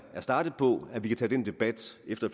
startet på at vi kan tage den debat efter